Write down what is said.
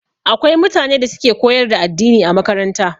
Akwai mutane da suke koyar da addini a makaranta